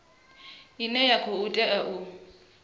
ine ya khou tea u